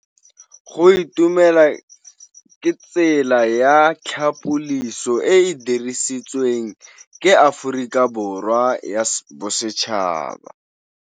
Go itumela ke tsela ya tlhapolisô e e dirisitsweng ke Aforika Borwa ya Bosetšhaba.